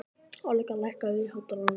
Olga, lækkaðu í hátalaranum.